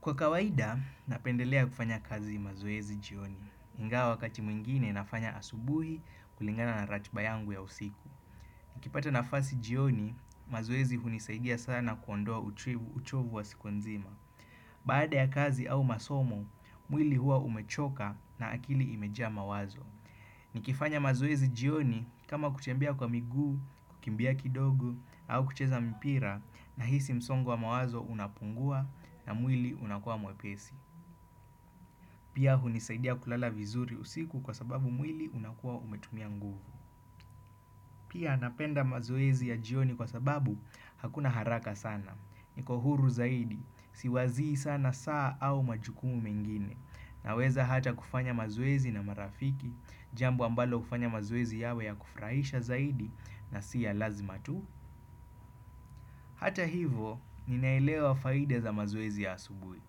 Kwa kawaida, napendelea kufanya kazi mazoezi jioni. Ingawa wakati mwingine nafanya asubuhi kulingana na ratiba yangu ya usiku. Nikipata nafasi jioni, mazoezi hunisaidia sana kuondoa uchovu wa siku nzima. Baada ya kazi au masomo, mwili hua umechoka na akili imejaa mawazo. Nikifanya mazoezi jioni kama kutembea kwa miguu, kukimbia kidogo au kucheza mpira nahisi msongo wa mawazo unapungua na mwili unakua mwepesi. Pia hunisaidia kulala vizuri usiku kwa sababu mwili unakua umetumia nguvu. Pia napenda mazoezi ya jioni kwa sababu hakuna haraka sana. Niko huru zaidi, siwazii sana saa au majukumu mengine. Naweza hata kufanya mazoezi na marafiki, jambo ambalo hufanya mazoezi yawe ya kufurahisha zaidi na si ya lazima tu. Hata hivyo, ninaelewa faida za mazoezi ya asubuhi.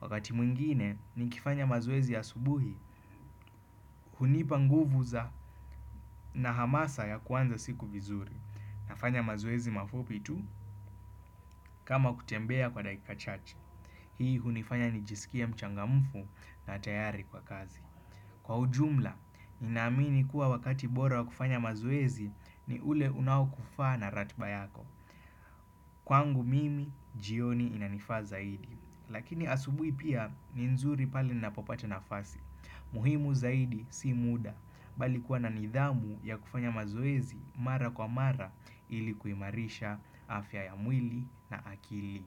Wakati mwingine nikifanya mazoezi ya asubuhi, hunipa nguvu za na hamasa ya kuanza siku vizuri. Nafanya mazoezi mafupi tu kama kutembea kwa dakika chache. Hii hunifanya nijisikie mchangamufu na tayari kwa kazi. Kwa ujumla, ninaamini kuwa wakati bora wa kufanya mazoezi ni ule unaokufaa na ratiba yako. Kwangu mimi, jioni inanifaa zaidi. Lakini asubuhi pia ni nzuri pale ninapopata nafasi. Muhimu zaidi si muda, bali kuwa na nidhamu ya kufanya mazoezi mara kwa mara ili kuimarisha afya ya mwili na akili.